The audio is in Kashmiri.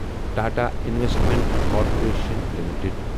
Tata investment corporation limited